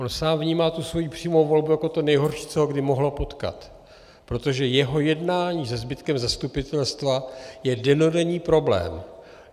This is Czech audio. On sám vnímá tu svou přímou volbu jako to nejhorší, co ho kdy mohlo potkat, protože jeho jednání se zbytkem zastupitelstva je dennodenní problém.